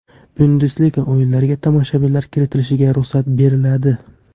Bundesliga o‘yinlariga tomoshabinlar kiritilishiga ruxsat beriladi.